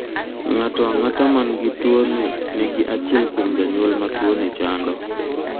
Ng'ato ang'ata man gi tuoni ni gi achiel kuom janyuol matuoni chando.